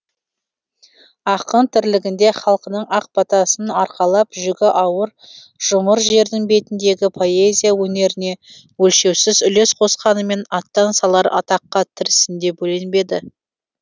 ақын тірлігінде халқының ақ батасын арқалап жүгі ауыр жұмыр жердің бетіндегі поэзия өнеріне өлшеусіз үлес қосқанымен аттан салар атаққа тірісінде бөленбеді